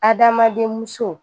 Adamaden muso